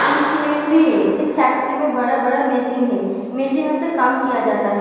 Instrument भी है। इस फैक्ट्री में बड़ा-बड़ा मशीन है। मशीनो से काम किया जाता है।